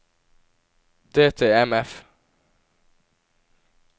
DTMF